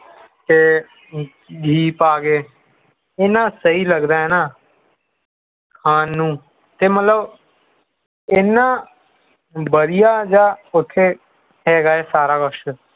ਤੇ ਘੀ ਪਾ ਕੇ ਇਹਨਾਂ ਸਹੀ ਲਗਦਾ ਹੈ ਨਾ ਖਾਣ ਨੂੰ ਤੇ ਮਤਲਬ ਇਹਨਾਂ ਵਧੀਆਂ ਜਾਹ ਉਥੇ ਹੈਗਾ ਹੈ ਸਾਰਾ ਕੁਝ